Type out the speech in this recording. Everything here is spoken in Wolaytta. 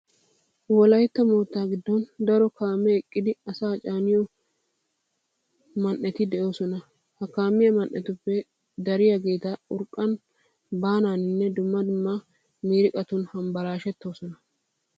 Wolaytta moottaa giddon daro kaamee eqqidi asaa caaniyo ma "eti de'oosona. Ha kaamiya man"etuppe dariyageeti urqqan baanaaninne dumma dumma miiriqatun hambbalaashettoosona.